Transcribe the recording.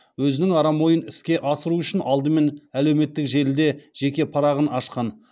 өзінің арам ойын іске асыру үшін алдымен әлеуметтік желіде жеке парағын ашқан